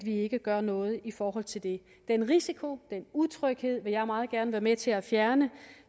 ikke gøre noget i forhold til det den risiko den utryghed vil jeg meget gerne være med til at fjerne